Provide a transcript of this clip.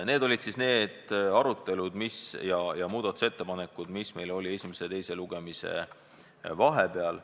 Need olid arutelud ja muudatusettepanekud, mis meil olid esimese ja teise lugemise vahepeal.